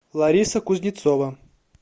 лариса кузнецова